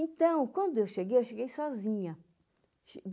Então, quando eu cheguei, eu cheguei sozinha.